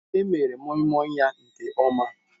Emere Moimoi ya nke ọma.